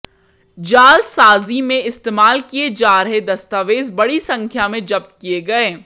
जालसाजी में इस्तेमाल किए जा रहे दस्तावेज बड़ी संख्या में जब्त किए गए